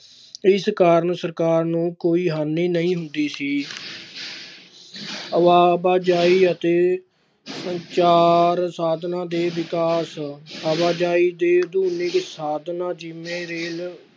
ਇਸ ਕਾਰਨ ਸਰਕਾਰ ਨੂੰ ਕੋਈ ਹਾਨੀ ਨਹੀਂ ਹੁੰਦੀ ਸੀ ਆਵਾਜ਼ਾਈ ਅਤੇ ਸੰਚਾਰ ਸਾਧਨਾਂ ਦੇ ਵਿਕਾਸ ਆਵਾਜ਼ਾਈ ਦੇ ਸਾਧਨਾਂ ਜਿਵੇਂ